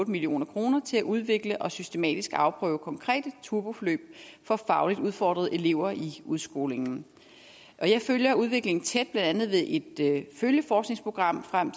million kroner til at udvikle og systematisk afprøve konkrete turboforløb for fagligt udfordrede elever i udskolingen jeg følger udviklingen tæt blandt andet ved et følgeforskningsprogram frem